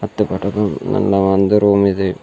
ಇದು ಪೆಟ್ರೋಲ್ ನನ್ನ ಒಂದು ರೂಮ್ ಇದೆ.